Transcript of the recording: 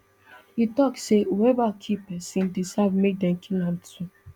e tok say whoever kill pesin deserve make dem kill am too